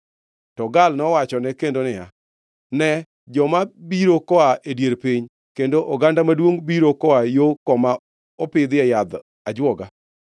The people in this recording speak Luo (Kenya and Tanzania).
To Gaal nowachone kendo niya, “Ne joma biro koa e dier piny, kendo oganda maduongʼ biro koa yo koma opidhie yadh ajwoga.”